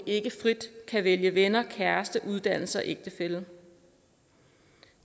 ikke frit kan vælge venner kæreste uddannelse ægtefælle